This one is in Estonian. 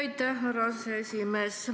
Aitäh, härra aseesimees!